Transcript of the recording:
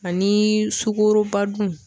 Ani sukoroba dun.